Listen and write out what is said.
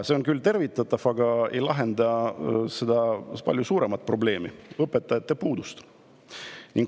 See on küll tervitatav, aga ei lahenda seda palju suuremat probleemi: õpetajate puudust.